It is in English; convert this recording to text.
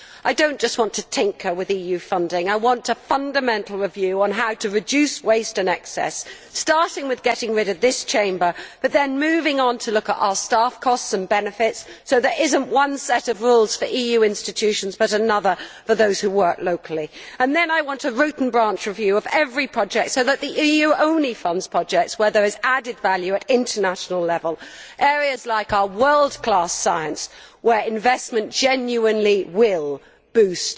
I do not just want to tinker with EU funding, I want a fundamental review on how to reduce waste and excess, starting with getting rid of this Chamber but moving on to look at our staffing costs and benefits, so that there is not one set of rules for EU institutions and another for those who work locally. Then I want a root and branch review of every project so that the EU only funds projects where there is added value at international level in areas like our world class science, where investment genuinely will boost